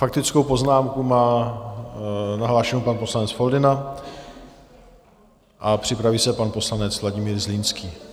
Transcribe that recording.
Faktickou poznámku má nahlášenu pan poslanec Foldyna a připraví se pan poslanec Vladimír Zlínský.